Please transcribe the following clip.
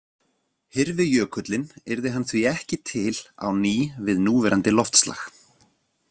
Hyrfi jökullinn yrði hann því ekki til á ný við núverandi loftslag.